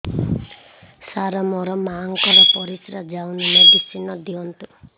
ସାର ମୋର ମାଆଙ୍କର ପରିସ୍ରା ଯାଉନି ମେଡିସିନ ଦିଅନ୍ତୁ